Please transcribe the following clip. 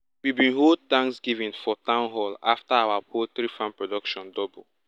we bin hold thanksgiving for town hall after our poultry farm production double